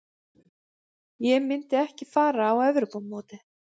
Ég myndi ekki fara á Evrópumótið.